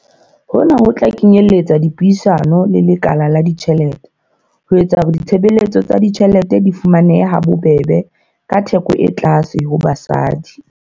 Hona ho tla kenyeletsa dipuisano le lekala la ditjhelete ho etsa hore ditshebeletso tsa ditjhelete di fumanehe ha bobebe ka theko e tlase ho basadi.